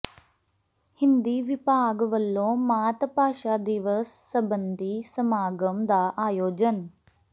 ਹਿੰਦੀ ਵਿਭਾਗ ਵੱਲੋਂ ਮਾਤ ਭਾਸ਼ਾ ਦਿਵਸ ਸਬੰਧੀ ਸਮਾਗਮ ਦਾ ਆਯੋਜਨ